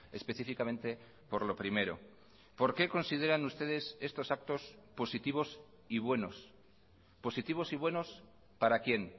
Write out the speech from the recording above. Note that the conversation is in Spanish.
específicamente por lo primero por qué consideran ustedes estos actos positivos y buenos positivos y buenos para quién